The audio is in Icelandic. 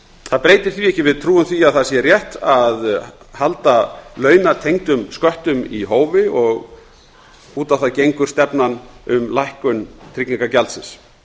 það breytir því ekki að við trúum því að það sé rétt að halda launatengdum sköttum í hófi út á það gengur stefnan um lækkun tryggingagjaldsins